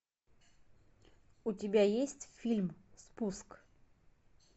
у тебя есть фильм спуск